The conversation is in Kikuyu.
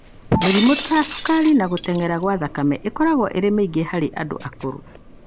Mĩrimũ ta cukari na gũtenyera gwa thakame ĩkoragwo ĩrĩ mĩingĩ harĩ andũ akũrũ.